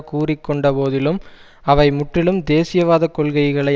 கூறி கொண்ட போதிலும் அவை முற்றிலும் தேசியவாத கொள்கைகளை